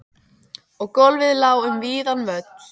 Og gólfið lá um víðan völl.